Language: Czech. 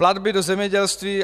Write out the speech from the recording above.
Platby do zemědělství.